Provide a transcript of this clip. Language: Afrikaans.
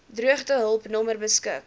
droogtehulp nommer beskik